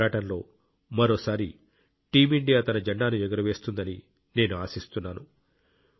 ఈ పోరాటంలో మరోసారి టీం ఇండియా తన జెండాను ఎగురవేస్తుందని నేను ఆశిస్తున్నాను